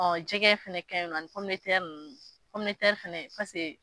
Jɛgɛgɛ fɛnɛ ka ɲi nɔ ani ninnu, fɛnɛ paseke